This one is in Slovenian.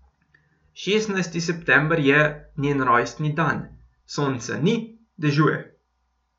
Šestnajsti september je, njen rojstni dan, sonca ni, dežuje.